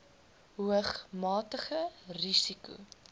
hoog matige risiko